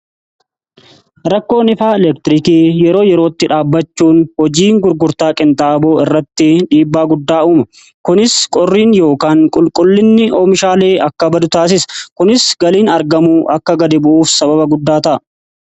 Rakkoon ifaa elektirikii yeroo yerootti dhaabachuun hojii gurgurtaa qinxaaboo irratti dhiibbaa guddaa uuma. Kunis qorriin yookaan qulqullinni oomishaalee akka badu taasisa. Kunis galiin argamu akka gad bu'uuf sababa guddaa ta'a.